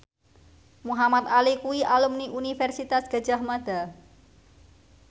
Muhamad Ali kuwi alumni Universitas Gadjah Mada